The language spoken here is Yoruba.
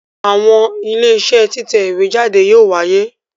Àwọn Iléeṣẹ́ títẹ̀ ìwé jáde yóò wáyé